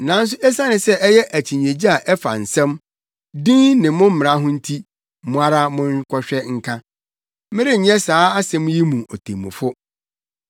Nanso esiane sɛ ɛyɛ akyinnyegye a ɛfa nsɛm, din ne mo mmara ho nti, mo ara monkɔhwɛ nka. Merenyɛ saa asɛm yi mu otemmufo.”